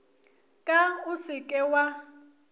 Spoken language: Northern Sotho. ka o se ke wa